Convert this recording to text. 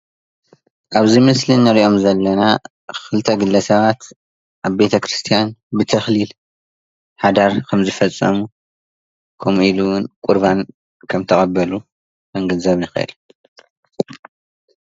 ኣብዚ ምስሊ እንሪኦም ዘለና ክልተ ግለ ሰባት ኣብ ቤተክርስትያን ብተኽሊል ሓዳር ከምዝፈፀሙ ከምኡ ኢሉ እዉን ቁርባን ከም ተቐበሉ ክንግንዘብ ንኽእል።